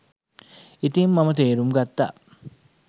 ඉතින් මම තේරුම් ගත්තා